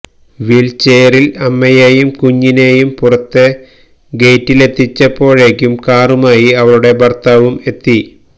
വീല്ചെയറില് അമ്മയെയും കുഞ്ഞിനേയും പുറത്തെ ഗെയ്റ്റില് എത്തിച്ചപ്പോഴേക്കും കാറുമായി അവളുടെ ഭര്ത്താവും എത്തി